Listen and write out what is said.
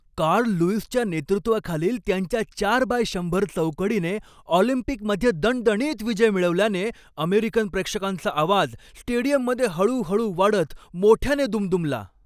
Carl लुईसच्या नेतृत्वाखालील त्यांच्या चार बाय शंभर चौकडीने ऑलिम्पिकमध्ये दणदणीत विजय मिळवल्याने अमेरिकन प्रेक्षकांचा आवाज स्टेडियममध्ये हळू हळू वाढत मोठ्याने दुमदुमला.